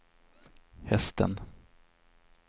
hästen